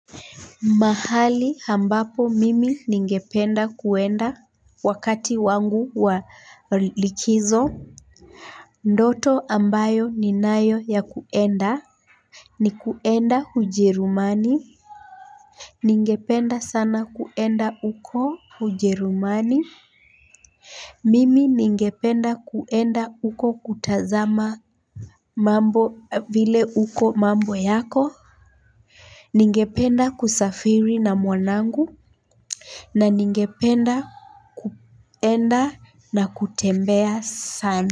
Mahali ambapo mimi ningependa kuenda wakati wangu wa likizo. Ndoto ambayo ninayo ya kwenda, ni kwenda Ujerumani. Ningependa sana kuenda uko hujerumani. Mimi ningependa kwenda huko kutazama mambo vile huko mambo yako. Ningependa kusafiri na mwanangu. Na ningependa kwenda na kutembea sana.